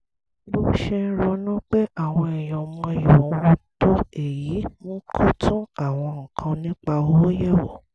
bó ṣe ń ronú pé àwọn èèyàn ò mọyì òun tó èyí mú kó tún àwọn nǹkan nípa owó yẹ̀wò